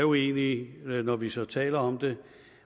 uenige når vi så taler om dem